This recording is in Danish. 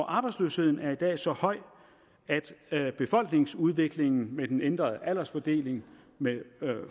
arbejdsløsheden er i dag så høj at befolkningsudviklingen med den ændrede aldersfordeling med